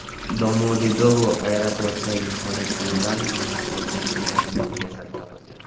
Domodedovo aeroportidagi hojatxonadan yangi tug‘ilgan go‘dakning jasadi topildi.